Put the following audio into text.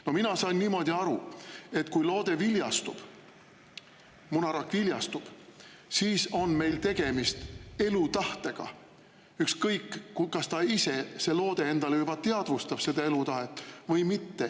No mina saan aru niimoodi, et kui munarakk viljastub, siis on meil tegemist elutahtega, ükskõik, kas see loode ise endale juba teadvustab seda elutahet või mitte.